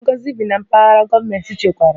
Ngozi bi na Mpaghara gọọmentị chekwara